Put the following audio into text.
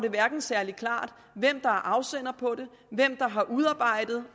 særlig klart hvem der er afsender på det hvem der har udarbejdet